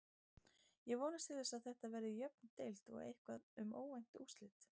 Ég vonast til þess að Þetta verði jöfn deild og eitthvað um óvænt úrslit.